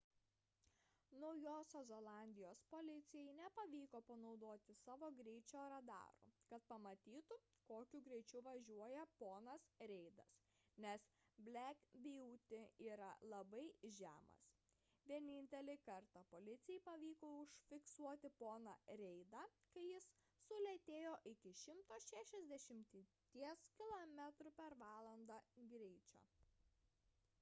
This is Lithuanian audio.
naujosios zelandijos policijai nepavyko panaudoti savo greičio radarų kad pamatytų kokiu greičiu važiuoja ponas reidas nes black beauty yra labai žemas – vienintelį kartą policijai pavyko užfiksuoti poną reidą kai jis sulėtėjo iki 160 km/h greičio